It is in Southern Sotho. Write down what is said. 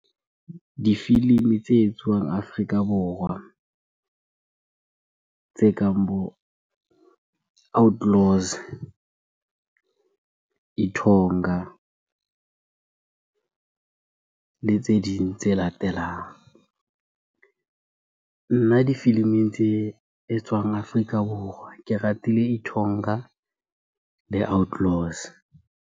Difilimi tse etsuwang Afrika Borwa tse kang bo Outlaws, Ithonga le tse ding tse latelang. Nna difiliming tse etswang Afrika Borwa ke ratile Ithonga le Outlaws.